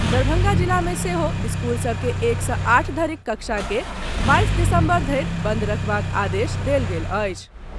दरभंगा जिला मे सेहो स्कूल सभ के एक सँ आठ धरिक कक्षा के बाईस दिसम्बर धरि बंद राखबाक आदेश देल गेल अछि।